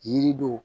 Yiri do